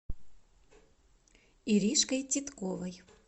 иришкой титковой